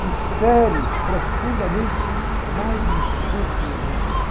que fere profundamente mais no centro da minha alma.